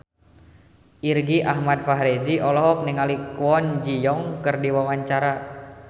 Irgi Ahmad Fahrezi olohok ningali Kwon Ji Yong keur diwawancara